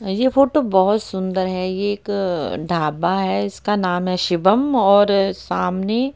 ये फोटो बहोत ही सुंदर है ये एक ढाबा है जिसका नाम है शिवम और सामने--